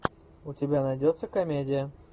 у тебя найдется комедия